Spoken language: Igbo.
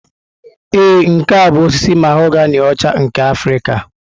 Ee, nke a bụ osisi mahoganị ọcha nke Afrịka.